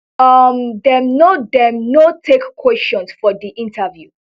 um dem no dem no take questions for di interview